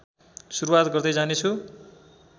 सुरुवात गर्दै जानेछु